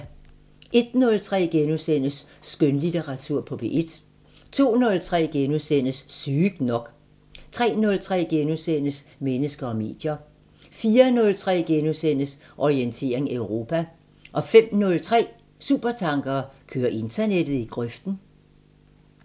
01:03: Skønlitteratur på P1 * 02:03: Sygt nok * 03:03: Mennesker og medier * 04:03: Orientering Europa * 05:03: Supertanker: Kører internettet i grøften?